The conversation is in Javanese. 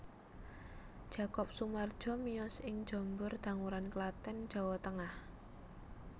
Jakob Sumardjo miyos ing Jombor Danguran Klaten Jawa Tengah